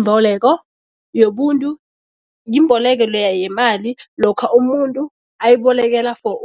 mboleko yobuntu, yimboleko leya yemali lokha umuntu ayibolekela for